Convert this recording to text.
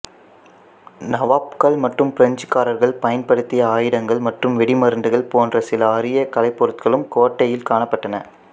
நவாப்கள் மற்றும் பிரெஞ்சுக்காரர்கள் பயன்படுத்திய ஆயுதங்கள் மற்றும் வெடிமருந்துகள் போன்ற சில அரிய கலைப்பொருட்களும் கோட்டையில் காணப்பட்டன